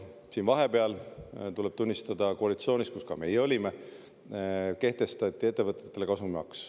Vahepeal, tuleb tunnistada, koalitsioonis, kus ka meie olime, kehtestati ettevõtetele kasumimaks.